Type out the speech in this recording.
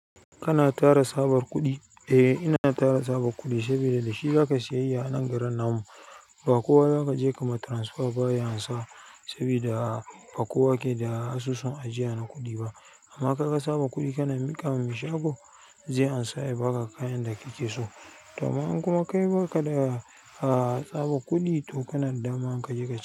Kana tara tsabar kuɗi? Eh, ina tara tsabar kuɗi saboda da shi zaka siyayya a nan garin nan mu. Ba kowa zaka je ka ma transfer baya ansa saboda ba kowa ke da asusun ajiya na kuɗi ba. Amma ka ka tsaba kuɗi kana miƙa wa mashako, zai ansa ya baka kayan da kike so. Daman kuma kai baka da a tsaba kuɗi, to kana dama ka je ka ci.